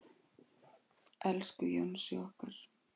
Elsku Jónsi okkar.